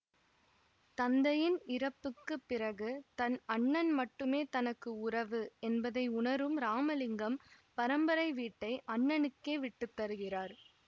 தந்தையின் இறப்புக்கு பிறகு தன் அண்ணன் மட்டுமே தனக்கு உறவு என்பதை உணரும் ராமலிங்கம் பரம்பரை வீட்டை அண்ணனுக்கே விட்டு தருகிறார்